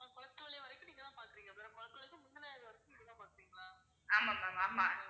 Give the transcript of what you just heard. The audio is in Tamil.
ஆமா ma'am ஆமா